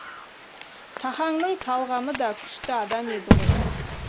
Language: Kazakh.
тахаңның талғамы да күшті адам еді ғой